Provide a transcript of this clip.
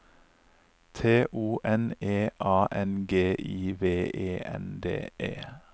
T O N E A N G I V E N D E